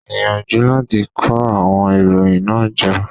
Gbìyànjú láti kó àwon ìròyìn náà jọ